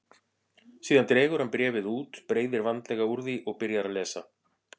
Síðan dregur hann bréfið út, breiðir vandlega úr því og byrjar að lesa.